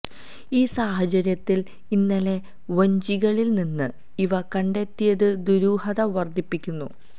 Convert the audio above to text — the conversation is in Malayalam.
ഈ സാഹചര്യത്തില് ഇന്നലെ വഞ്ചികളില് നിന്ന് ഇവ കണ്ടെത്തിയത് ദുരൂഹത വര്ദ്ധിപ്പിക്കുന്നു